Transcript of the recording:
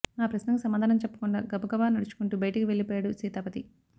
ఆ ప్రశ్నకి సమాధానం చెప్పకుండా గబగబా నడుచుకుంటూ బయటికి వెళ్లిపోయాడు సీతాపతి